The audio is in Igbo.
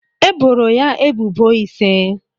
E boro ya ebubo ise.